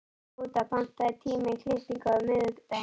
Skúta, pantaðu tíma í klippingu á miðvikudaginn.